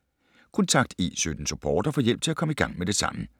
Kontakt E17-Support og få hjælp til at komme i gang med det samme.